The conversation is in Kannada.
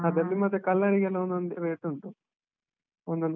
ಅದ್ರಲ್ಲಿ ಮತ್ತೆ color ಗೆಲ್ಲ ಒಂದೊಂದ್ rate ಉಂಟು ಒಂದೊಂದ್.